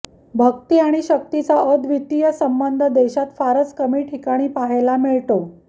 भक्ती आणि शक्तीचा अद्वितीय संबंध देशात फारच कमी ठिकाणी पाहायला मिळतो